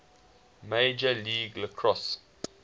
major league lacrosse